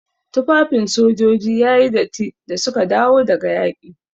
Tufafin sojoji yayi datti da suka dawo daga yaƙi.